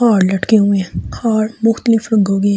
और लटके हुए हैं और मुक्तलीफ --